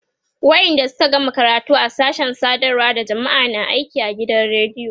wayanda Suka gama karatu a sashen sadarwa da jamma'a na aiki a gidan radiyo